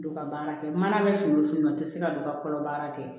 Don ka baara kɛ mana bɛ fini o fini na n tɛ se ka don ka kɔlɔ baara kɛ